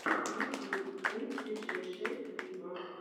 ютюб клип диджей шейк виво